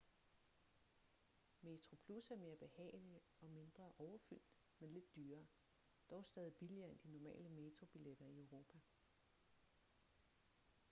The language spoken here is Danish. metroplus er mere behagelig og mindre overfyldt men lidt dyrere dog stadig billigere end de normale metrobilletter i europa